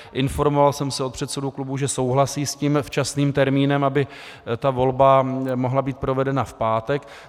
Informoval jsem se u předsedů klubů, že souhlasí s tím včasným termínem, aby ta volba mohla být provedena v pátek.